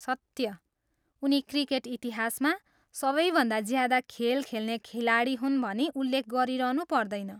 सत्य। उनी क्रिकेट इतिहासमा सबैभन्दा ज्यादा खेल खेल्ने खिलाडी हुन् भनी उल्लेख गरिरहनु पर्दैन।